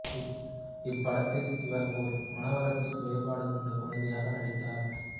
இப்படத்தில் இவர் ஒரு மனவளர்ச்சிக் குறைபாடு கொண்ட குழந்தையாக நடித்தார்